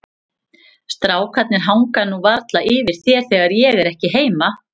Strákarnir hanga nú varla yfir þér þegar ég er ekki heima.